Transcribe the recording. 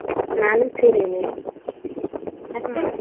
ನಾನು ಸೀರೆನೆ ಮತ್ತೆ?